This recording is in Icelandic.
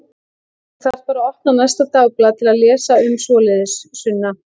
Þú þarft bara að opna næsta dagblað til að lesa um svoleiðis, Sunna.